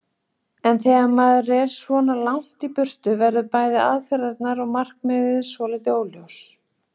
En þegar maður er svona langt í burtu verða bæði aðferðirnar og markmiðin svolítið óljós.